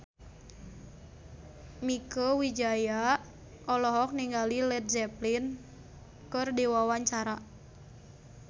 Mieke Wijaya olohok ningali Led Zeppelin keur diwawancara